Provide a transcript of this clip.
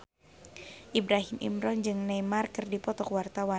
Ibrahim Imran jeung Neymar keur dipoto ku wartawan